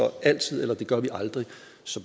altid eller det gør vi aldrig